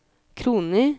kroner